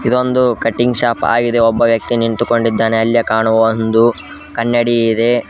ಇದೊಂದು cutting shop ಆಗಿದೆ ಒಬ್ಬ ನಿಂತುಕೊಂಡಿದ್ದಾನೆ ಅಲ್ಲಿ ಕಾಣುವವೊಂದು ಕನ್ನಡಿ ಇದೆ.